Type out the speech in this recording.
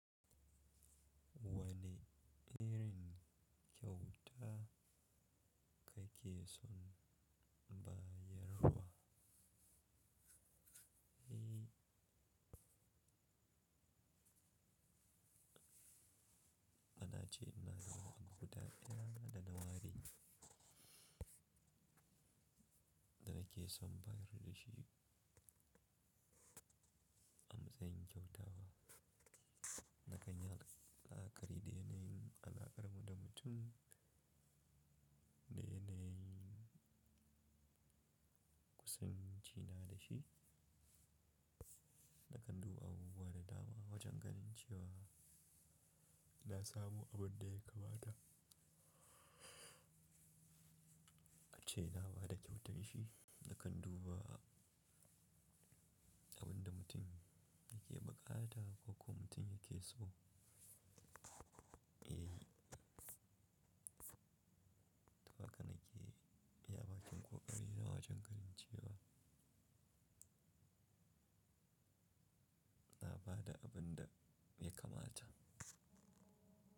Wane irin kyauta kake son bayarwa? Na ce ina da wahala buhu da ita. Ina da nawaɗi da nake son bayar da shi a matsayin kyauta. Nakan yi alƙawari da yana alƙar mu da mutum da yanayin kusanci na da shi. Nakan duba abubuwa da dama wajen ganin cewa na samu abin da ya kamata. Kace naba da kyautar shi, nakan duba abin da mutum yake buƙata ko ko mutum yake so. Eh, haka nake iya baƙin ƙoƙari da wajen karin cewa na ba da abin da ya kamata.